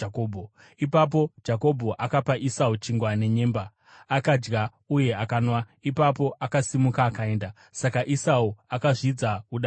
Ipapo Jakobho akapa Esau chingwa nenyemba. Akadya uye akanwa, ipapo akasimuka akaenda. Saka Esau akazvidza udangwe hwake.